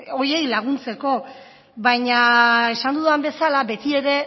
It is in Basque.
horiei laguntzeko baina esan dudan bezala betiere